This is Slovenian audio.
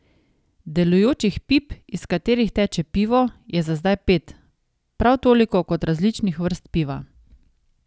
Delujočih pip, iz katerih teče pivo, je za zdaj pet, prav toliko kot različnih vrst piva.